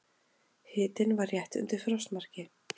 Hitinn var rétt undir frostmarki.